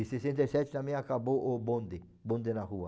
E sessenta e sete também acabou o bonde, o bonde na rua.